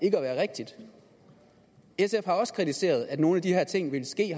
ikke at være rigtigt sf har også kritiseret at nogle af de her ting ville ske